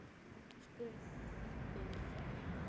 spurðu þau hann.